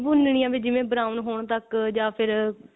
ਭੁੰਨਨੀ ਹੈ ਵੀ ਜਿਵੇਂ brown ਹੋਣ ਤੱਕ ਜਾ ਫਿਰ